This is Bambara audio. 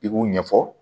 I k'u ɲɛfɔ